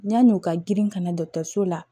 Yann'u ka girin ka na dɔgɔtɔrɔso la